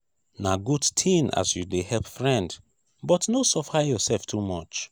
na good tin as you dey help friend but no suffer yoursef too much.